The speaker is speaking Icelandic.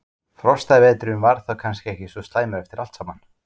Frostaveturinn var þá kannski ekki svo slæmur eftir allt saman?